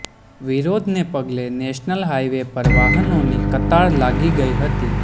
વિરોધને પગલે national highway પર વાહનોની કતાર લાગી ગઈ હતી